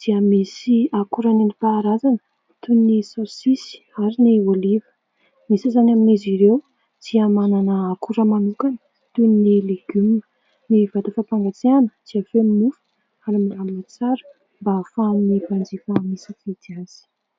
dia misy akora nentim-paharazana toy ny saosisy ary ny oliva. Ny sasany amin'izy ireo dia manana akora manokana toy ny legioma. Ny vata fampangatsiahana dia feno mofo ary milamina tsara mba ahafahan'ny mpanjifa misafidy azy.